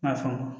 N y'a faamu